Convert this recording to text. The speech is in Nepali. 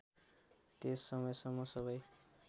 त्यस समयसम्म सबै